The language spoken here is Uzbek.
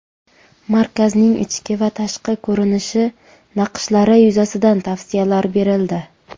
Markazning ichki va tashqi ko‘rinishi, naqshlari yuzasidan tavsiyalar berildi.